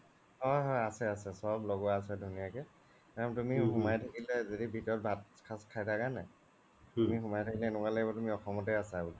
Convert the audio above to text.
অ অ আছে আছে চ্'ব লগোৱা আছে ধুনিয়া কে তাৰ মানে তুমি সোমাই থাকিলে য্দি ভিতৰত ভাত এখাজ খাই থাকা নে নাই তুমি সোমাই থাকিলে এনেকুৱা লাগিব অসম্তে আছা বুলি